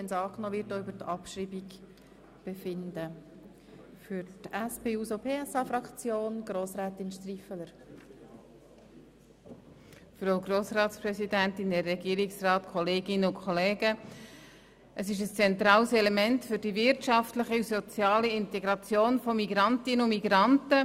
Der Erwerb einer oder mehrerer Amtssprachen ist ein zentrales Instrument für die wirtschaftliche und soziale Integration von Migrantinnen und Migranten.